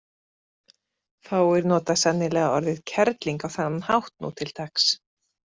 Fáir nota sennilega orðið kerling á þennan hátt nú til dags.